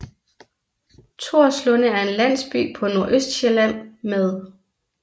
Torslunde er en landsby på Nordøstsjælland med